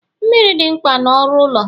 Mmiri dị mkpa na ọrụ ụlọ